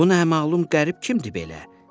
Bu nə əməlum qərib kimdir belə?